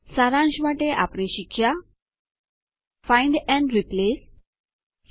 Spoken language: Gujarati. સારાંશ માટે આપણે શીખ્યા ફાઇન્ડ એન્ડ રિપ્લેસ શોધતા અને બદલી કરતા